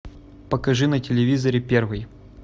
покажи на телевизоре первый